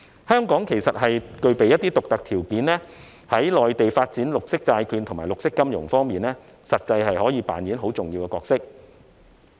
香港其實具備一些獨特條件，在內地發展綠色債券和綠色金融方面，實際上可扮演很重要的角色。